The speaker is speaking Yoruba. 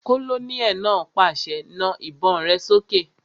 Kólóníẹ̀ náà pàṣẹ, "Na àwọn ìbọn rẹ sókè!"